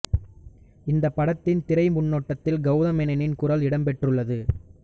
இந்தப் படத்தின் திரை முன்னோட்டத்தில் கௌதம் மேனனின் குரல் இடம்பெற்றுள்ளது